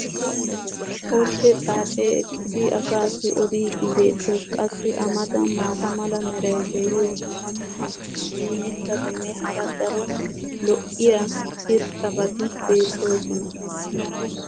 ordde xaacee eqqidi asaassi odiiddi beettees. qassi a matan maata mala meray diyo dumma dumma mitatinne hara daro lo'iya irxxabati beettoosona.